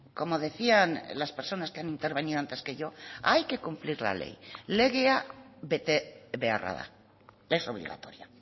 como decían las personas que han intervenido antes que yo hay que cumplir la ley legea bete beharra da es obligatoria